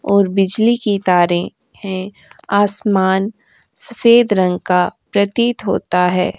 और बिजली की तारें हैं आसमान सफेद रंग का प्रतीत होता है।